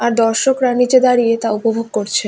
আর দর্শকরা নিচে দাঁড়িয়ে তা উপভোগ করছেন।